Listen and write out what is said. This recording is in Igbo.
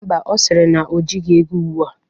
Mba o, ọ siri na o jighi ego ugbu a.